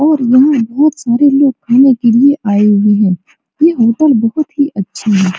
और यहाँ बहुत सारे लोग खाने के लिए आए हुए हैं ये होटल बहुत ही अच्छा है।